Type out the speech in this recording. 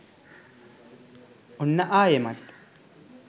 ඔන්න ආයෙමත්